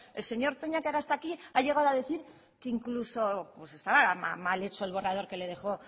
el señor toña que ahora está aquí ha llegado a decir que incluso pues estaba mal hecho el borrador que le dejó